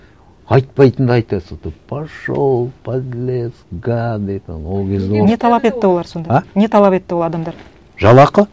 айтпайтынды айтады зато пошел подлец гады там ол кезде ол не талап етті ол адамдар жалақы